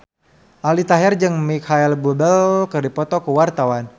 Aldi Taher jeung Micheal Bubble keur dipoto ku wartawan